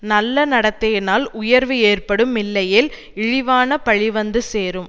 நல்ல நடத்தையினால் உயர்வு ஏற்படும் இல்லையேல் இழிவான பழி வந்து சேரும்